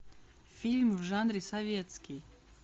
фильм в жанре советский